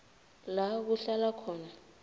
la kuhlala khona